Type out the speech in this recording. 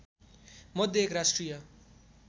मध्ये एक राष्ट्रिय